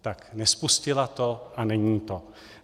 Tak, nespustila to a není to.